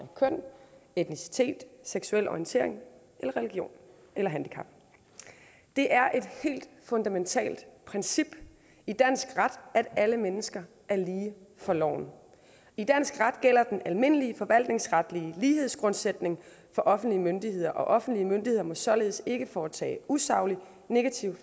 køn etnicitet seksuel orientering religion eller handicap det er et helt fundamentalt princip i dansk ret at alle mennesker er lige for loven i dansk ret gælder den almindelige forvaltningsretlige lighedsgrundsætning for offentlige myndigheder og offentlige myndigheder må således ikke foretage usaglig negativ